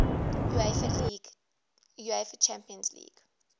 uefa champions league